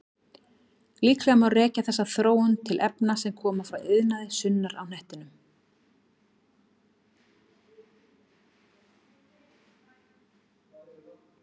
Líklega má rekja þessa þróun til efna sem koma frá iðnaði sunnar á hnettinum.